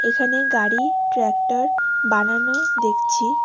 এখানে গাড়ি ট্রাক্টর বানানো দেখছি।